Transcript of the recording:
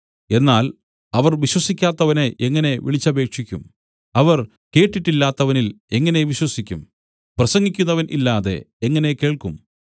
എന്നാൽ അവർ വിശ്വസിക്കാത്തവനെ എങ്ങനെ വിളിച്ചപേക്ഷിക്കും അവർ കേട്ടിട്ടില്ലാത്തവനിൽ എങ്ങനെ വിശ്വസിക്കും പ്രസംഗിക്കുന്നവൻ ഇല്ലാതെ എങ്ങനെ അവർ കേൾക്കും